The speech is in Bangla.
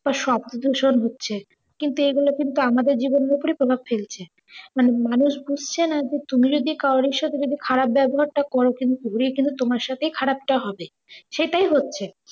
বা শব্দ দূষণ হচ্ছে কিন্তু এইগুলো কিন্তু আমাদের জীবনের অপরেই প্রভাব ফেলছে। মানে মানুষ বুঝছে না যে তুমি যদি কাওর ঈসে তুমি যে খারাপ ব্যাবহার টা করো কিন্তু ঘুরিয়ে কিন্তু তোমার সাথেই খারাপটা হবে। সেটাই হচ্ছে।